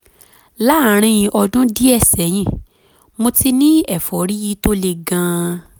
láàárín ọdún díẹ̀ sẹ́yìn mo ti ní ẹ̀fọ́rí tó le gan-an